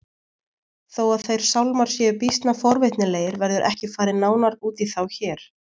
Þó að þeir sálmar séu býsna forvitnilegir verður ekki farið nánar út í þá hér.